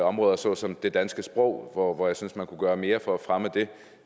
områder såsom det danske sprog hvor jeg synes at man kunne gøre mere for at fremme det